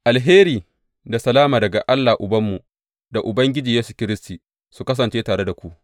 Alheri da salama daga Allah Ubanmu, da Ubangiji Yesu Kiristi, su kasance tare da ku.